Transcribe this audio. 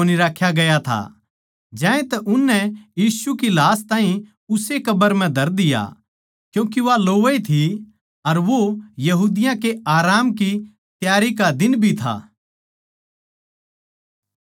ज्यांतै उननै यीशु की लाश ताहीं उस्से कब्र म्ह धर दिया क्यूँके वा लोवै ए थी अर वो यहूदिया के आराम की त्यारी का दिन भी था